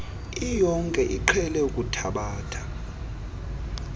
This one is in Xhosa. iyonke iqhele ukuthabatha